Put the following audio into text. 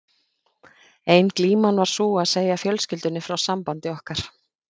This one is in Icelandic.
Ein glíman var sú að segja fjölskyldunni frá sambandi okkar.